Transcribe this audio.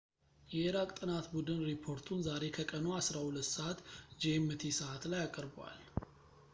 የኢራቅ ጥናት ቡድን ሪፖርቱን ዛሬ ከቀኑ 12.00 gmt ሰዓት ላይ አቅርቧል